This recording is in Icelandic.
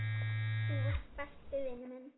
Þú varst besti vinur minn.